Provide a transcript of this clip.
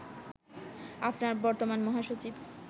আপনার বর্তমান মহাসচিব